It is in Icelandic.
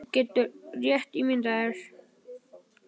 Þú getur rétt ímyndað þér!